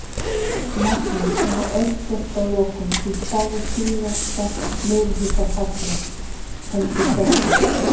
Magnús: Svona örstutt að lokum, þú spáðir síðasta meirihluta falli, heldur þessi?